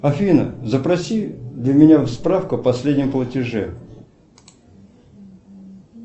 афина запроси для меня справку о последнем платеже